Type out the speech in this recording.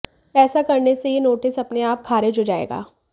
ऐसा करने से ये नोटिस अपने आप खारिज हो जाएगा